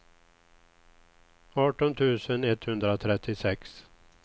arton tusen etthundratrettiosex